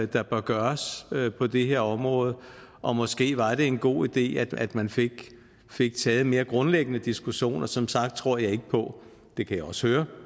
der bør gøres på det her område og måske var en god idé at man fik fik taget en mere grundlæggende diskussion som sagt tror jeg ikke på det kan jeg også høre